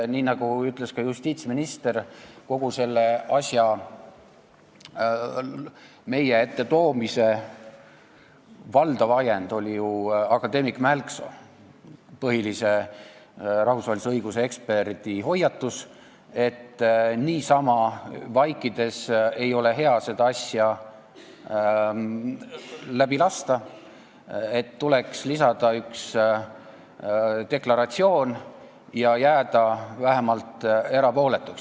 Nii nagu ütles ka justiitsminister, kogu selle asja meie ette toomise valdav ajend oli akadeemik Mälksoo, põhilise rahvusvahelise õiguse eksperdi hoiatus, et niisama vaikides ei ole hea seda asja läbi lasta, tuleks lisada üks deklaratsioon ja jääda vähemalt erapooletuks.